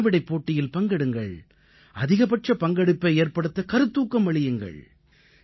வினாவிடைப் போட்டியில் பங்கெடுங்கள் அதிகபட்ச பங்கெடுப்பை ஏற்படுத்த கருத்தூக்கம் அளியுங்கள்